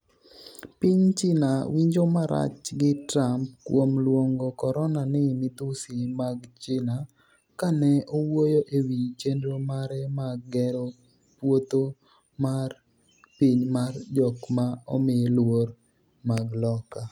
piny China winjo marach gi Trump kuom luongo corona ni 'midhusi mag China' kane owuoyo e wi chenro mare mag gero' puotho mar piny mar jok ma omi luor mag Loka'